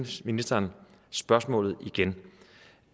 ministeren spørgsmålet igen